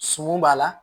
Suman b'a la